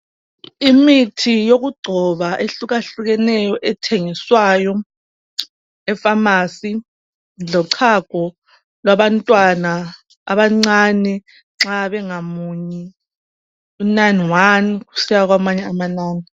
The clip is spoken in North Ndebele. Imithi yokugcoba ehlukahlukeneyo ethengiswayo efamasi lochago labantwana abancani nxa bengamunyi unani wani kusiya kwamanye amanani.